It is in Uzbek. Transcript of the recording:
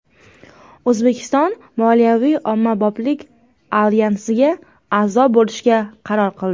O‘zbekiston Moliyaviy ommaboplik alyansiga a’zo bo‘lishga qaror qildi.